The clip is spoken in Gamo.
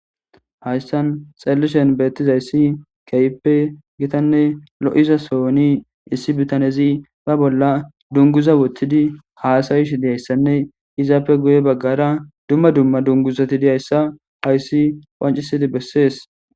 hayssan xallishen beettizayssi keyppe gitanne lo7iza sooni issi bitanezi ba bolla dunguza wottidi haasayish diyayssanne izaappe guye baggara dumma dumma dunguzati diyayssa hayssi qancisidi bessees